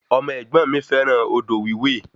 Ọmọ ẹ̀gbọ́n mi fẹràn odò wiwè